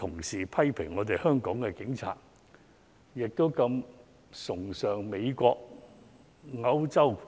事實證明，香港警隊的質素是世界公認。